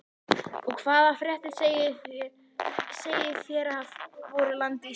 Og hvaða fréttir segið þér af voru landi Íslandi?